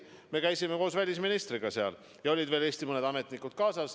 Me käisime seal koos välisministriga ja kaasas olid veel mõned Eesti ametnikud.